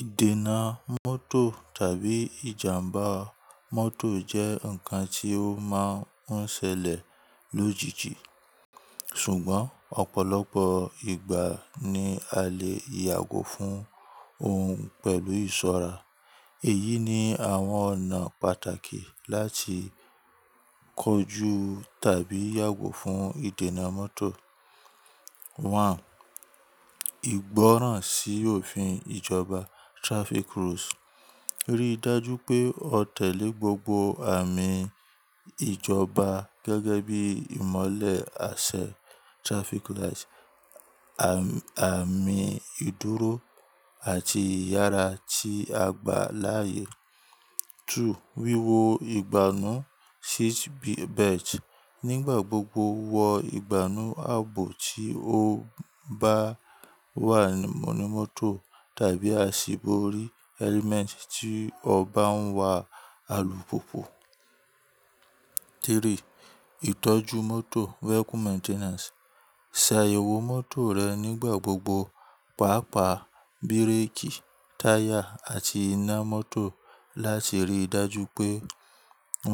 Ìdènà mọ́tò tàbí ìjàmbá mọ́tò jẹ́ ǹkan tí ó máa ń ṣẹlẹ̀ lójijì, ṣùgbọ́n ọ̀pọ̀lọpọ̀ ìgbà ni a lè yàgò fún òun pẹ̀lú ìṣọ́ra. Èyí ni àwọn ọ̀nà pàtàkì láti kojú tàbí yàgò fún ìdènà mọ́tò. One, ìgbọ́ràn sí òfin ìjọba traffic rules. Rí i dájú pé o tẹ̀lé gbogbo àmì ìjọba gẹ́gẹ́ bí ìmọ́lẹ̀ àṣẹ traffic lights, àmì ìdúró àti ìyára tí a gbà láàyè. Two, wíwo ìgbànú seat belt. Nígbà gbogbo, wọ ìgbànú ààbò tí o bá wà ní mọ́tò tàbí a ṣì bóri helmet tí o bá ń wa alùpùpù. Three, ìtọ́jú mọ́tò vehicle maintenance. Se àyẹ̀wò mọ́tò rẹ nígbà gbogbo, pàápàá bíréèkì, táyà àti iná mọ́tò láti rí i dájú pé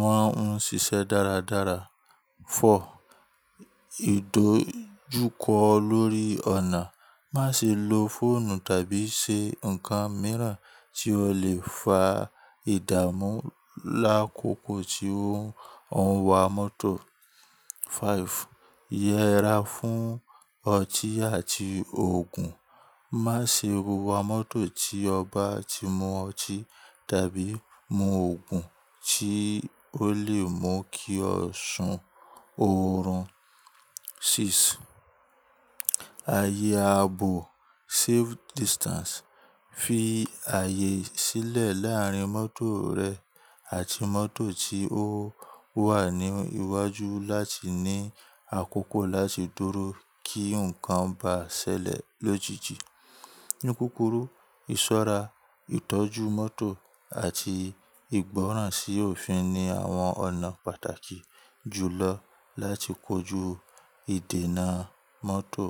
wọ́n ń ṣiṣẹ́ dáradára. Four, ìdójúkọ lórí ọ̀nà. Má ṣe lo fóònù tàbí ṣe ǹkan mìíràn tí ó lè fa ìdààmú lákòókò tí ó ń wa mọ́tò. Five, yẹra fún ọtí àti òògùn. Má ṣe wa mọ́tò tí o bá ti mu ọtí tàbí mu òògùn tí ó lè mú kí ọ sùn òòrùn. Six, ààyè ààbò safe distance. Fi ààyè sílẹ̀ láàrin mọ́tò rẹ àti mọ́tò tí ó wà ní iwájú láti ní àkókò láti dúró kí ǹkan bá ṣẹlẹ̀ lójijì. Ní kúrúkù, ìṣọ́ra, ìtọ́jú mọ́tò àti ìgbọ́ràn sí òfin ni àwọn ọ̀nà pàtàkì jùlọ láti kojú ìdènà mọ́tò.